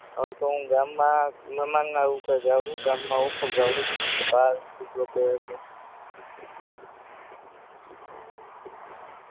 હવે તો હું ગામમાં રૂપે જાવ હું ગામમાં ઓછો જાવ હું